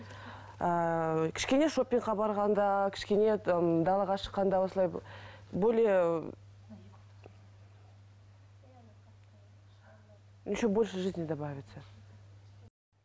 ыыы кішкене шопингқа барғанда кішкене м далаға шыққанда осылай более еще больше жизни добавиться